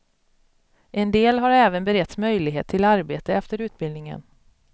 En del har även beretts möjlighet till arbete efter utbildningen.